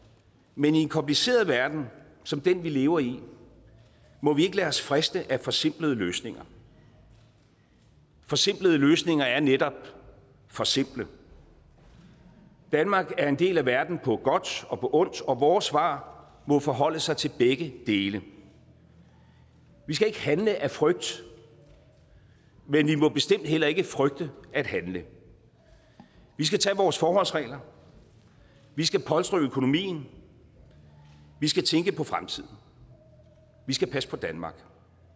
men i en kompliceret verden som den vi lever i må vi ikke lade os friste af forsimplede løsninger forsimplede løsninger er netop for simple danmark er en del af verden på godt og ondt og vores svar må forholde sig til begge dele vi skal ikke handle af frygt men vi må bestemt heller ikke frygte at handle vi skal tage vores forholdsregler vi skal polstre økonomien vi skal tænke på fremtiden vi skal passe på danmark